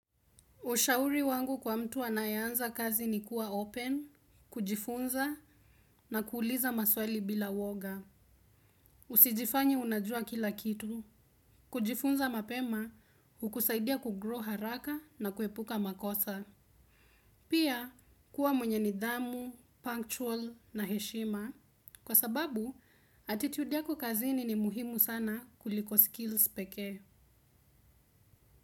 Ushauri wangu kwa mtu anayeanza kazi ni kuwa open, kujifunza na kuuliza maswali bila woga. Usijifanye unajua kila kitu. Kujifunza mapema, hukusaidia kugrow haraka na kuepuka makosa. Pia, kuwa mwenye nidhamu, punctual na heshima. Kwa sababu, attitude yako kazini ni muhimu sana kuliko skills pekee.